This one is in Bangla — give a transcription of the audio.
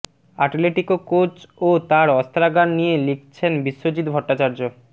আটলেটিকো কোচ ও তাঁর অস্ত্রাগার নিয়ে লিখছেন বিশ্বজিৎ ভট্টাচার্য